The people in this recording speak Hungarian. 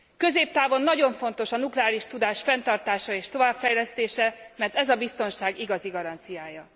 Középtávon nagyon fontos a nukleáris tudás fenntartása és továbbfejlesztése, mert ez a biztonság igazi garanciája.